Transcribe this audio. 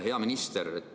Hea minister!